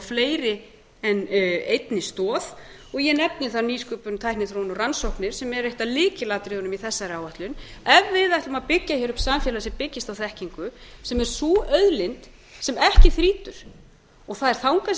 fleiri en einni stoð og ég nefni þar nýsköpun tækniþróun og rannsóknir sem eru eitt af lykilatriðunum í þessari áætlun ef við ætlum að byggja upp samfélag sem byggist á þekkingu sem er sú auðlind sem ekki þrýtur og það er þangað